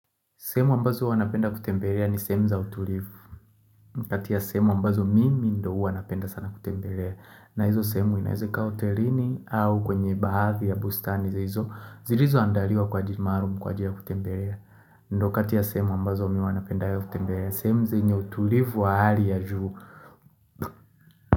Sehemu ambazo huwa napenda kutembelea ni sehemu za utulivu. Kati ya sehemu ambazo mimi ndio huwa napenda sana kutembelea. Na hizo sehemu inaweza ikawa hotelini au kwenye baadhi ya bustani za hizo zilizoandaliwa kwa ajili maalum kwa ajili ya kutembelea. Ndio kati ya sehemu ambazo mimi huwa napenda ya kutembelea. Semu zenye utulivu wa hali ya juu.